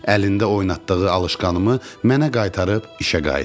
Əlində oynatdığı alışqanımı mənə qaytarıb işə qayıtdı.